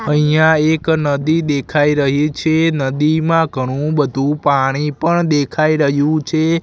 અહિયા એક નદી દેખાઈ રહી છે નદીમાં ઘણું બધુ પાણી પણ દેખાઈ રહ્યુ છે.